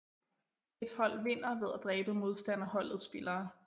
Et hold vinder ved at dræbe modstanderholdets spillere